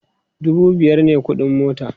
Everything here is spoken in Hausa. dubu biyar me ƙuɗin mota